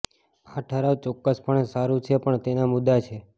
આ ઠરાવ ચોક્કસપણે સારું છે પણ તેના મુદ્દા છે